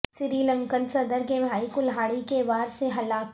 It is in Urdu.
سری لنکن صدر کے بھائی کلہاڑی کے وار سے ہلاک